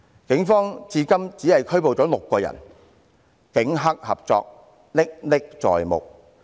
警方至今只拘捕了6人，警黑合作歷歷在目。